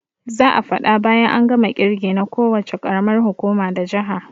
Za'a faɗa bayan an gama kirge na ko wuce karamar hukuma da jaha